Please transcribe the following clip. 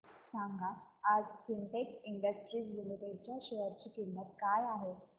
सांगा आज Sintex Industries Limited च्या शेअर ची किंमत काय आहे